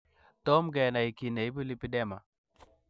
Tom kenai kiy neibu lipedema.